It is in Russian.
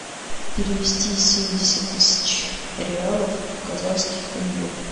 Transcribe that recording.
перевести семьдесят тысяч реалов в казахских тенге